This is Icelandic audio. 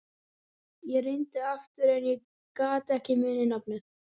Ég reyndi aftur en ég gat ekki munað nafnið.